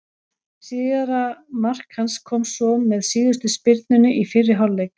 Síðara mark hans kom svo með síðustu spyrnunni í fyrri hálfleik.